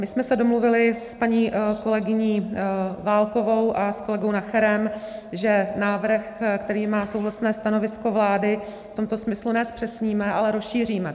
My jsme se domluvili s paní kolegyní Válkovou a s kolegou Nacherem, že návrh, který má souhlasné stanovisko vlády, v tomto smyslu ne zpřesníme, ale rozšíříme.